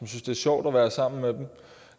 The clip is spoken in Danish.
sjovt at være sammen med en